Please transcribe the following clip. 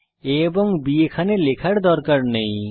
a এবং b এখানে লেখার দরকার নেই